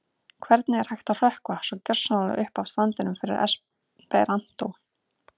Hvernig er hægt að hrökkva svo gersamlega upp af standinum fyrir esperantó?